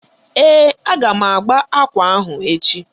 Ee, a ga m agba ákwà ahụ echi.